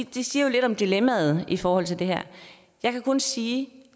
det siger lidt om dilemmaet i forhold til det her jeg kan kun sige